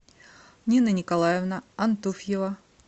нина николаевна антуфьева